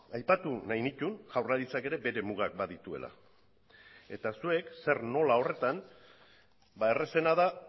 aipatu nahi nituen jaurlaritzak ere bere mugak badituela eta zuek zer nola horretan errazena da